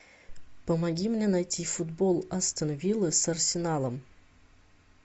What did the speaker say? помоги мне найти футбол астон вилла с арсеналом